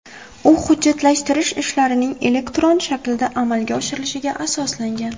U hujjatlashtirish ishlarining elektron shaklda amalga oshirilishiga asoslangan.